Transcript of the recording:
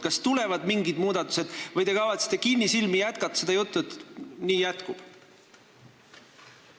Kas tulevad mingid muudatused või te kavatsete kinnisilmi rääkida edasi seda juttu, et nii jätkub?